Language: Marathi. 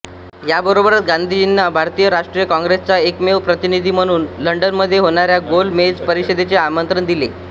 याबरोबरच गांधीजींना भारतीय राष्ट्रीय काँग्रेसचा एकमेव प्रतिनिधी म्हणून लंडनमध्ये होणाऱ्या गोल मेज परिषदेचे आमंत्रण दिले